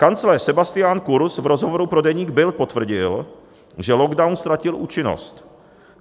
Kancléř Sebastian Kurz v rozhovoru pro deník Bild potvrdil, že lockdown ztratil účinnost.